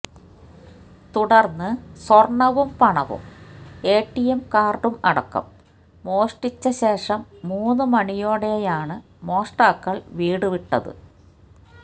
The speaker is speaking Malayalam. തുടര്ന്ന് സ്വര്ണവും പണവും എടിഎം കാര്ഡും അടക്കം മോഷ്ടിച്ച ശേഷം മൂന്ന് മണിയോടെയാണ് മോഷ്ടാക്കള് വീട് വിട്ടത്